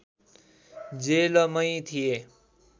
जेलमै थिए